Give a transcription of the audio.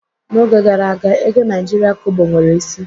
N'oge gara aga, ego Naijiria Kobo nwere isi